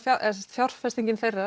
fjárfestingin þeirra